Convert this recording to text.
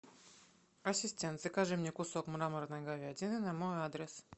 ассистент закажи мне кусок мраморной говядины на мой адрес